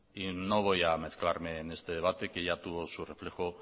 y no voy a mezclarme en este debate que ya tuvo su reflejo